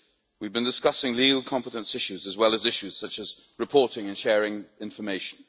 We have been discussing legal competence issues, as well as issues such as reporting and sharing information.